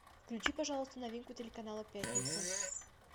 включи пожалуйста новинку телеканала пятница